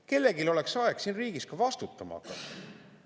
Kellelgi oleks aeg siin riigis ka vastutama hakata.